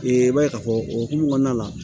Ee i b'a ye k'a fɔ o hokumu kɔnɔna la